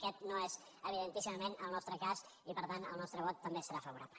aquest no és evidentíssimament el nostre cas i per tant el nostre vot també serà favorable